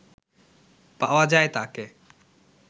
পাওয়া যায় তাকে